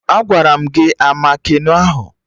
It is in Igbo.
Agwara m gị a ama keno ahụ!